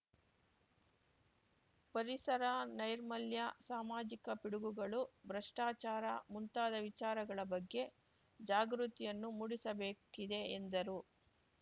ಪರಿಸರ ನೈರ್ಮಲ್ಯ ಸಾಮಾಜಿಕ ಪಿಡುಗುಗಳು ಭ್ರಷ್ಟಾಚಾರ ಮುಂತಾದ ವಿಚಾರಗಳ ಬಗ್ಗೆ ಜಾಗೃತಿಯನ್ನು ಮೂಡಿಸಬೇಕಿದೆ ಎಂದರು